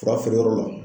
Fura feere yɔrɔ la